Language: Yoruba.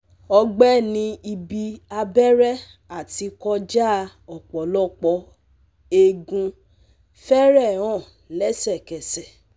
Ọgbẹ́ ní ibi abẹ́rẹ́ àti kọjá ọ̀pọ̀lọpọ̀ eékún fẹ́rẹ̀ẹ́ hàn lẹ́sẹ̀kẹsẹ̀